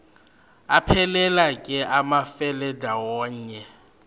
aphelela ke amafelandawonye